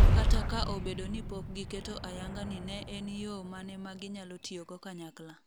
kata ka obedo ni pok giketo ayanga ni en en yoo mane ma ginyalo tiyogo kanyakla